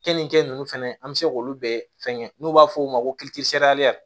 Keninke nunnu fɛnɛ an be se k'olu bɛɛ fɛngɛ n'u b'a f'o ma ko